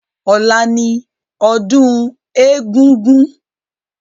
Ọlá ni ọdún egúngún